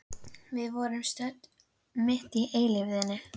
Við vorum stödd mitt í eilífðinni.